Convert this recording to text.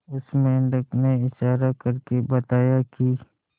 उस मेंढक ने इशारा करके बताया की